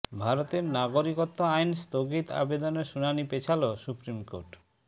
ভারতের নাগরিকত্ব আইন স্থগিত আবেদনের শুনানি পেছাল সুপ্রিম কোর্ট